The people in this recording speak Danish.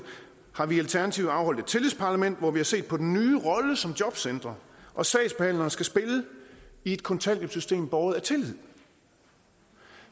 har vi i alternativet afholdt et tillidsparlament hvor vi har set på den nye rolle som jobcentre og sagsbehandlere skal spille i et kontanthjælpssystem båret af tillid